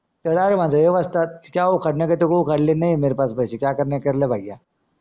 तर direct म्हणायचं ए वस्ताद तुझी अवकाध नाय